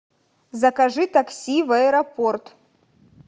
закажи такси в аэропорт